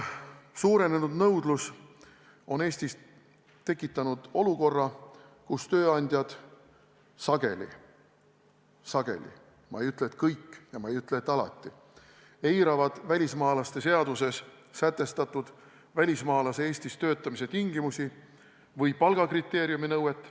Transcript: Suurenenud nõudlus on Eestis tekitanud olukorra, kus tööandjad sageli – sageli, ma ei ütle, et kõik, ja ma ei ütle, et alati – eiravad välismaalaste seaduses sätestatud välismaalase Eestis töötamise tingimusi või palgakriteeriumi nõuet.